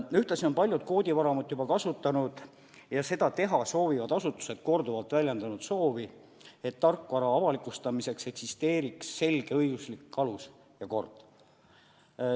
Ühtlasi on paljud koodivaramut juba kasutanud ja seda teha soovivad asutused on korduvalt väljendanud soovi, et tarkvara avalikustamiseks eksisteeriks selge õiguslik alus ja kord.